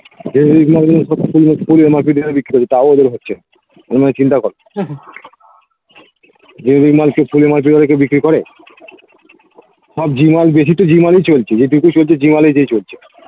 তও ওদের হচ্ছে ওই নিয়ে চিন্তা করো যে বিক্রি করে সব জিমল বেশি তো জিমল ই চলছে যে চলছে